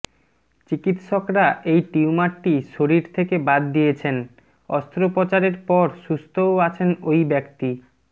চিকিৎসকরা এই টিউমারটি শরীর থেকে বাদ দিয়েছেন অস্ত্রপোচারের পর সুস্থও আছেন ওই ব্যক্তি